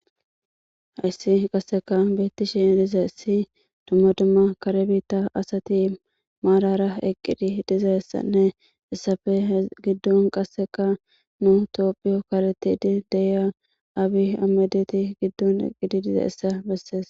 Hayssi qassekka beetishe dizayssi dumma dumma kare biitta asati marara eqqidi dizayssanne hessappe giddon qasseka nam7antuwape karethidi de7iya aabi aymede giddon eqqidi dizayssa besees.